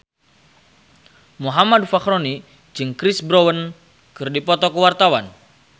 Muhammad Fachroni jeung Chris Brown keur dipoto ku wartawan